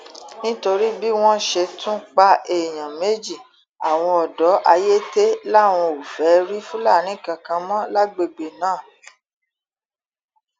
nítorí bí wọn ṣe tún pa èèyàn méjì àwọn ọdọ ayéte làwọn ò fẹẹ rí fúlàní kankan mọ lágbègbè náà